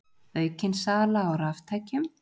Aukin sala á raftækjum